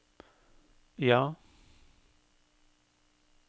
ja